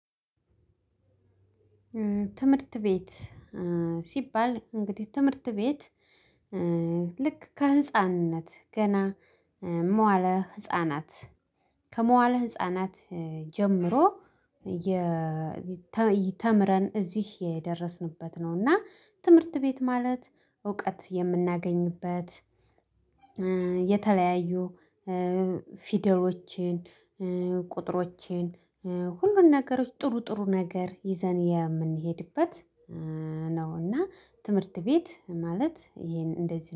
ትምህርት ቤት ሲባል እንግዲህ ትምህርት ቤት ልክ ከህፃንነት ገና መዋለ ህፃናት ከመዋለ ህፃናት ጀምሮ ተምረን እዚህ የደረስንበት ነው። እና ትምህርት ቤት ማለት እውቀት የምናገኝበት የተለያዩ ፊደሎችን ቁጥሮችን ሁሉን ነገሮች ጥሩ ጥሩ ነገር ይዘን የምንሄድበት ነው። እና ትምህርት ቤት ማለት ይሄን እንደዚህ